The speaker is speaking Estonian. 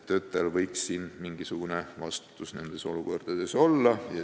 Töötajal võiks mingisugune vastutus nendes olukordades olla.